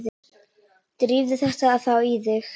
Drífðu þetta þá í þig.